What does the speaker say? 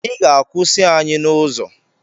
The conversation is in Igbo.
Ị ga-akwụsị anyị n’ụzọ